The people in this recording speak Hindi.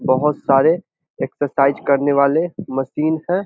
बहोत सारे एक्सरसाइज करने वाले मशीन हैं।